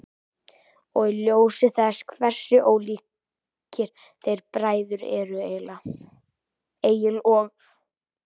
Og í ljósi þess hversu ólíkir þeir bræður eru, Egill og